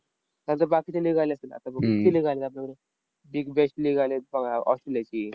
नंतर बाकीच्या league आल्या असतील. आता बघा कित्ती league आल्या big bash league आलीत बघा ऑस्ट्रेलियाची.